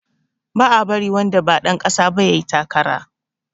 Ba a bari wanda ba ɗan ƙasa ba yayi takara